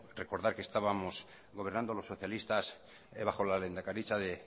recordar que estábamos gobernando los socialistas baja la lehendakaritza de